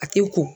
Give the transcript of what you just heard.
A tɛ ko